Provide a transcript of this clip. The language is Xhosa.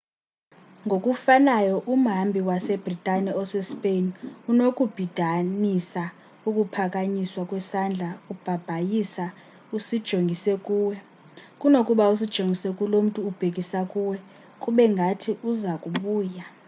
ngokufanayo umhambi wase-bhritane osespain unokubhidanisa ukuphakanyiswa kwesandla ubhabhayisa usijongise kuwe kunokuba usijongise kulo mntu ubhekisa kuwe kube ngathi uza kubuya